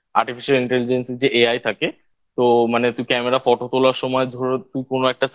Artificial Interagency যে AI থাকে তো মানে তুই Camera Photo তোলার সময় ধরো তুই কোন একটা